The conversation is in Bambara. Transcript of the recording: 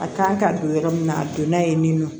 A kan ka don yɔrɔ min na a donna yen nɔ